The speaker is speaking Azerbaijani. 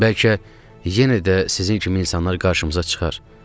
Bəlkə yenə də sizin kimi insanlar qarşımıza çıxar.